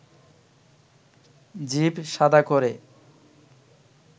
জিভ শাদা করে